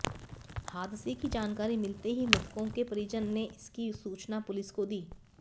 हादसे की जानकारी मिलते ही मृतकों के परिजन ने इसकी सूचना पुलिस को दी